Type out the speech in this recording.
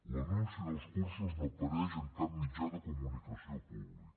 l’anunci dels cursos no apareix en cap mitjà de comunicació públic